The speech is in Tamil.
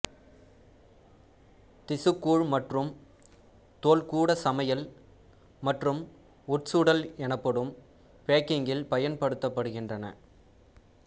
திசுக்கூழ் மற்றும் தோல் கூட சமையல் மற்றும் உட்சுடல் என்ப்படும் பேக்கிங்கில் பயன்படுத்தப்படுகின்றன